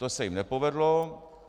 To se jim nepovedlo.